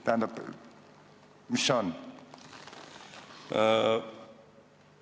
Tähendab, mis see on?